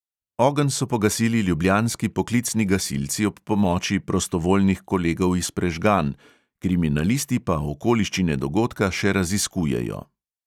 Ogenj so pogasili ljubljanski poklicni gasilci ob pomoči prostovoljnih kolegov iz prežganj, kriminalisti pa okoliščine dogodka še raziskujejo.